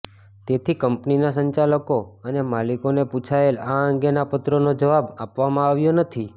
તેથી કંપનીના સંચાલકો અને માલિકોને પૂછાયેલા આ અંગેના પત્રનો જવાબ આપવામાં આવ્યો નથી